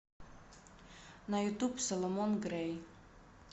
на ютуб соломон грэй